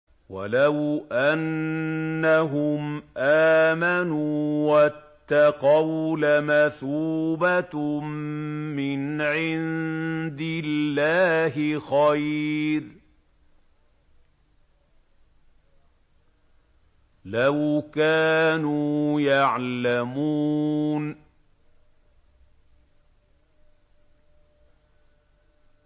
وَلَوْ أَنَّهُمْ آمَنُوا وَاتَّقَوْا لَمَثُوبَةٌ مِّنْ عِندِ اللَّهِ خَيْرٌ ۖ لَّوْ كَانُوا يَعْلَمُونَ